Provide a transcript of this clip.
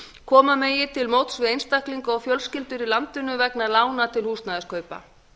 koma megi til móts við einstaklinga og fjölskyldur í landinu vegna lána til húsnæðiskaupa